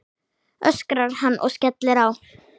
öskrar hann og skellir á.